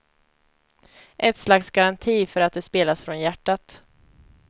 Ett slags garanti för att det spelas från hjärtat.